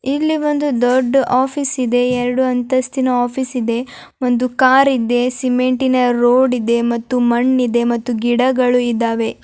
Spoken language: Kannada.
ಇಲ್ಲಿ ಬಂದು ದೊಡ್ಡು ಆಫೀಸ್ ಇದೆ ಎರೆಡು ಅಂತಸಿನ ಆಫೀಸ್ ಇದೆ ಒಂದು ಕಾರು ಇದೆ ಸಿಮೆಂಟಿನ ರೋಡು ಇದೆ ಮತ್ತು ಮಣ್ಣು ಇದೆ ಮತ್ತು ಗಿಡಗಳಿದಾವೆ.